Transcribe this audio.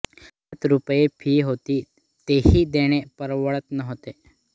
सात रुपये फी होती तीही देणे परवडत नव्हते